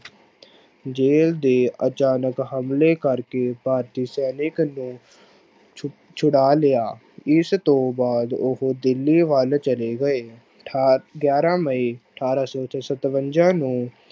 jail ਦੇ ਅਚਾਨਕ ਹਮਲੇ ਕਰਕੇ ਭਾਰਤੀ ਸੈਨਿਕ ਨੂੰ ਛੁ ਛੂੜਾ ਲਿਆ ਇਸ ਤੋਂ ਬਾਅਦ ਉਹ ਦਿੱਲੀ ਵੱਲ ਚਲੇ ਗਏ, ਅਠਾ ਗਿਆਰਾਂ ਮਈ ਅਠਾਰਾਂ ਸੌ ਸਤਵੰਜਾ ਨੂੰ